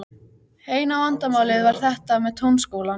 Eina vandamálið var þetta með Tónskólann.